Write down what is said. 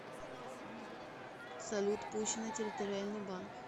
салют пущино территориальный банк